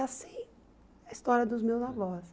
E assim é a história dos meus avós.